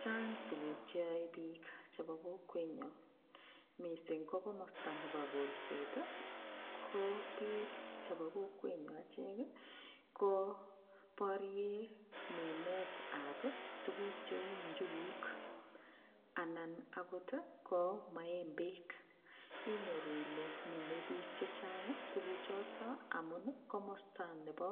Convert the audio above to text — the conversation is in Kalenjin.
Chaang tuguk cheyoei piik chebo emet nyo mising ko komosta nebo kolset ko ko biik chebo kokwenyo achek ko porien minet ap tuguk cheu njuguuk anan akot ko maembek inyoru ile minei biik chechang tuguk chotok amun komosta nebo